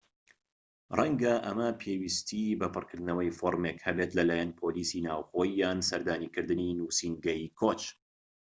ڕەنگە ئەمە پێویستی بە پڕکردنەوەی فۆرمێک هەبێت لای پۆلیسی ناوخۆیی یان سەردانیکردنی نووسینگەی کۆچ